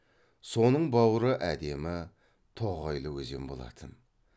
соның бауыры әдемі тоғайлы өзен болатын